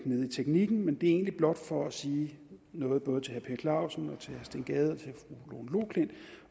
teknisk men det er egentlig blot for at sige noget både til herre per clausen og til steen gade